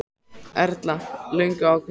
Erla: Löngu ákveðinn?